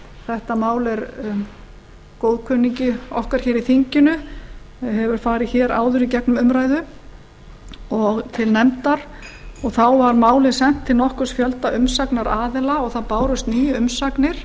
þetta mál er góðkunningi okkar hér í þinginu og hefur farið hér áður í gegnum umræðu og til nefndar og þá var málið sent til nokkurs fjölda umsagnaraðila og það bárust níu umsagnir